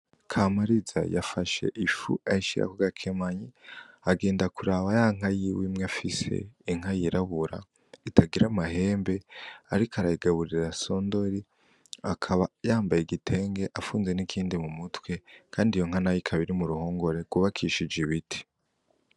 Kamariza yafashe ifu ayishira kugakemanyi , agenda kuraba yanka yiwe imwe afise, inka yirabura, itagira amahembe, ariko arayigaburira son de riz akaba yambaye igitenge afunze nikindi mumutwe, kandi iyonka ikaba iri muruhongore rwubakishije ibiti.